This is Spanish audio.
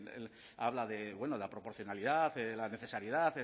habla de la proporcionalidad la necesidad